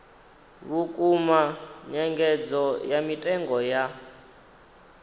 vhukuma nyengedzo ya mitengo ya